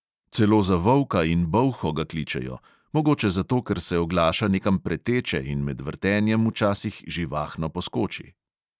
Celo za volka in bolho ga kličejo; mogoče zato, ker se oglaša nekam preteče in med vrtenjem včasih živahno poskoči.